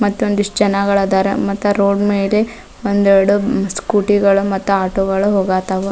ಮತ್ತೊಂದಿಷ್ಟು ಜನಗಳದಾರ ಮತ್ತು ರೋಡ್ ಮೇಲೆ ಒಂದೆರಡು ಸ್ಕೂಟಿ ಗಳು ಮತ್ತು ಆಟೊ ಗಳು ಹೋಗತಾವ.